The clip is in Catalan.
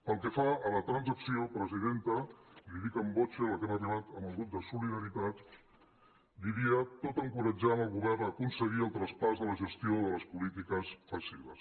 pel que fa a la transacció presidenta li ho dic in voce a la qual hem arribat amb el grup de solida·ritat diria tot encoratjant el govern a aconseguir el traspàs de la gestió de les polítiques passives